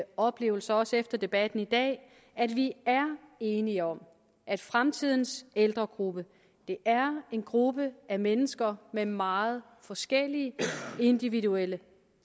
oplevelse også efter debatten i dag at vi er enige om at fremtidens ældregruppe er en gruppe af mennesker med meget forskellige individuelle